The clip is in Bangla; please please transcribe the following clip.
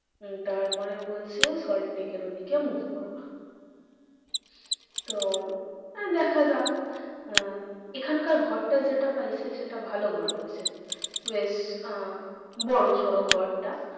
উম তারপরে বলছে সল্টলেকের ওদিকে move করবা। তো দেখা যাক আহ এখানকার ঘরটা যেটা পাইছে সেটা ভালো ঘর পাইছে বেশ আহ বড়ো সড়ো ঘরটা।